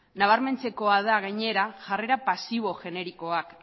nabarmentzekoa da gainera jarrera pasibo generikoak